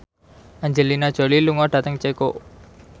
Angelina Jolie lunga dhateng Ceko